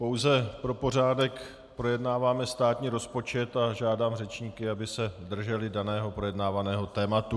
Pouze pro pořádek, projednáváme státní rozpočet a žádám řečníky, aby se drželi daného projednávaného tématu.